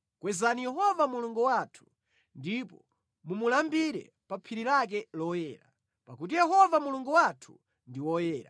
Kwezani Yehova Mulungu wathu ndipo mumulambire pa phiri lake loyera, pakuti Yehova Mulungu wathu ndi woyera.